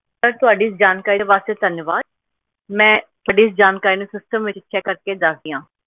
sir ਤੁਹਾਡੀ ਇਸ ਜਾਣਕਾਰੀ ਵਾਸਤੇ ਧੰਨਵਾਦ ਮੈਂ ਤੁਹਾਡੀ ਇਸ ਜਾਣਕਾਰੀ ਨੂੰ system ਵਿਚ check ਕਰਕੇ ਦੱਸਦੀ ਆ